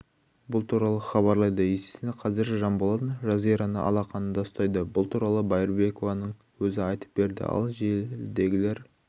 бұл туралы хабарлайды есесіне қазір жанболатжазираны алақанында ұстайды бұл туралы байырбекованың өзі айтып берді ал желідегілер